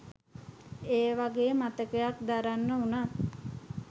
ඒවගේ මතයක් දරන්න උනත්